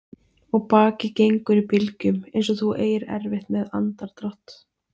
Og bakið gengur í bylgjum einsog þú eigir erfitt með andardrátt.